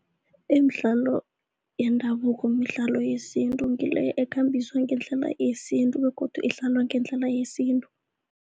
Imidlalo yendabuko midlalo yesintu ngile ekhambiswa ngendlela yesintu begodu idlalwa ngendlela yesintu.